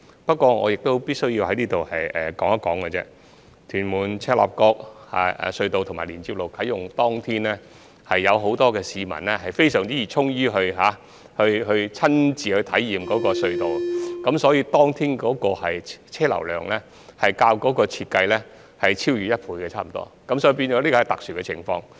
不過，我必須說的是，屯門─赤鱲角隧道啟用當天，有很多市民非常熱衷親身體驗這條隧道，以致當天大嶼山的車流量超越預期差不多一倍，這是一個特殊情況。